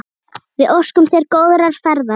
Við óskum þér góðrar ferðar.